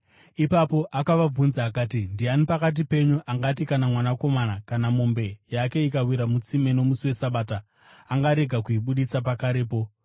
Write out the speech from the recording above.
Ipapo akavabvunza akati, “Ndiani pakati penyu angati kana mwanakomana, kana mombe yake ikawira mutsime nomusi weSabata, angarega kuibudisa pakarepo?”